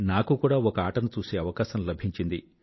నాకు కూడా ఒక ఆట ను చూసే అవకాశం లభించింది